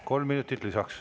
Kolm minutit lisaks.